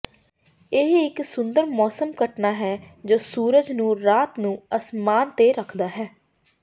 ਇਹ ਇਕ ਸੁੰਦਰ ਮੌਸਮ ਘਟਨਾ ਹੈ ਜੋ ਸੂਰਜ ਨੂੰ ਰਾਤ ਨੂੰ ਅਸਮਾਨ ਤੇ ਰੱਖਦਾ ਹੈ